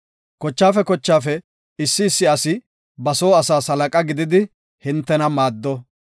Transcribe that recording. Kochape kochape issi issi asi ba soo asaas halaqa gididi hintena maaddo.